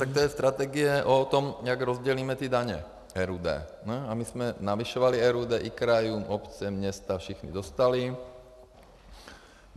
Tak to je strategie o tom, jak rozdělíme ty daně, RUD, a my jsme navyšovali RUD i krajům, obce, města, všichni dostali.